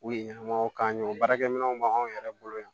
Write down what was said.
U ye ɲɛnɛmaw k'an ye o baarakɛminɛnw b'an yɛrɛ bolo yan